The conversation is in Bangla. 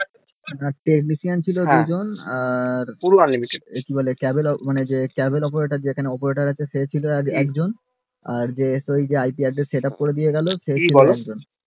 evidence ছিল দুজন camera operator যেখানে ছিল সেখানে ছিল একজন আর যে id address setup করে দিয়ে গেলো সেখানে ছিল একজন